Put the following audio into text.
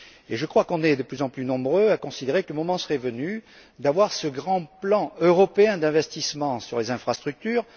Je crois que nous sommes de plus en plus nombreux à considérer que le moment serait venu d'avoir ce grand plan européen d'investissement dans les infrastructures.